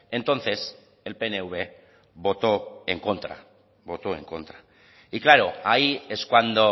entonces el pnv votó en contra voto en contra y claro ahí es cuando